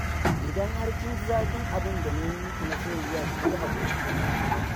Idan har kin ji zafin abinda na yi miki masoyiya ki yi haƙuri.